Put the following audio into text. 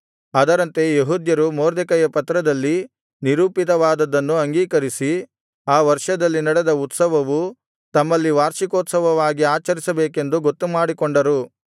ಅದರಂತೆ ಯೆಹೂದ್ಯರು ಮೊರ್ದೆಕೈಯ ಪತ್ರದಲ್ಲಿ ನಿರೂಪಿತವಾದದ್ದನ್ನು ಅಂಗೀಕರಿಸಿ ಆ ವರ್ಷದಲ್ಲಿ ನಡೆದ ಉತ್ಸವವು ತಮ್ಮಲ್ಲಿ ವಾರ್ಷಿಕೋತ್ಸವವಾಗಿ ಆಚರಿಸಬೇಕೆಂದು ಗೊತ್ತುಮಾಡಿಕೊಂಡರು